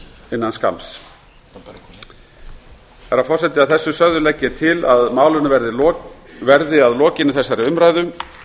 innan skamms herra forseti að þessu sögðu legg ég til að málinu verðið að lokinni þessari umræðu